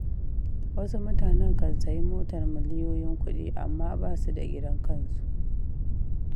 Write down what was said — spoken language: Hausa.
Wasu mutanen kan sayi motar miliyoyin kuɗi, amma basu da gidan kansu.